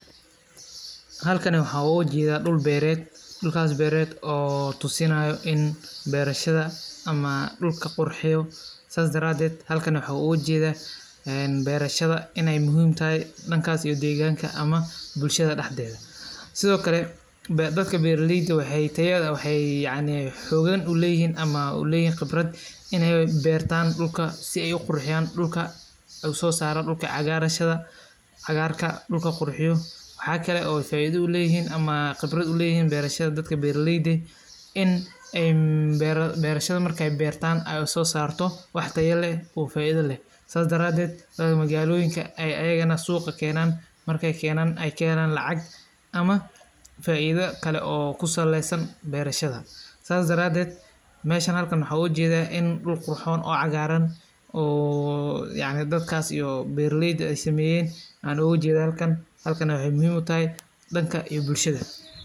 Halkani waxan ogajedha dul beret, dulkas beret oo tusinayo in berashada ama dulka qurxiyo, sas dareded xalkani waxan ogajeda een berashada inay muxiim taxay, dankas iyo deganka ama bulshada daxdeda, Sidhokale dadka berayelda waxa tayada, waxay yacni fudedeyn uleyixin ama uleyixin qibrad, inay bertan dulka si ay u qurxiyan dulka, oo sosaro dulka caagarka, dulka qurxiyo, waxa kale ay faida uleyixin ama qibradh uleyixin berashada dadka beraleyde, in ay berashada markay bertan ay usosarto wax taya leh oo faida leh, sas daraded wa magoloeyinka ay agana suga kenan, markay kenan ay kaxelan lacag, ama faida kale oo kusaleysan berashada, sas daraded meshan xalkan waxan ogajeda in duul qurxon oo cagaran oo yacni dadkas iyo beraleyda ay sameyen an ogajeda halkan, Sidhokale waxay muxiim utaxay danka iyo bulshada.